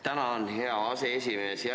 Tänan, hea aseesimees!